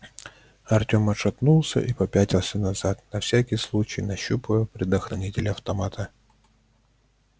артём отшатнулся и попятился назад на всякий случай нащупывая предохранитель автомата